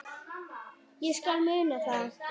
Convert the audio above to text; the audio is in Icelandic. Ég skal muna það.